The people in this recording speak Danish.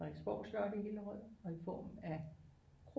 Frederiksborg slot i Hillerød og i form af